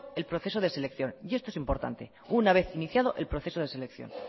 el proceso de selección y eso es importante una vez iniciado el proceso de selección